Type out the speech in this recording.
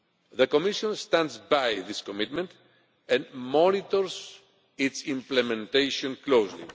The Commission stands by this commitment and monitors its implementation closely.